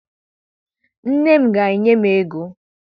Nne m ga-enye m ego.